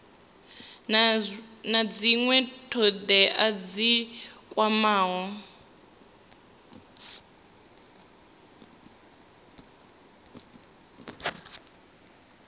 na dzinwe thodea dzi kwamaho